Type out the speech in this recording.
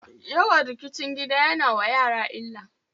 Yawan rikicin gida ya na wa yara illa.